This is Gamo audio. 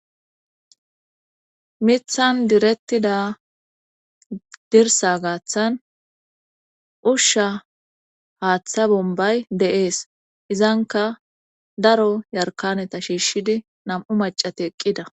mithan direttida dirsa gaaththan ushsha haaththa bombay dee'es izanka daro yarkaneta shiishshidi nam7u macate eqqida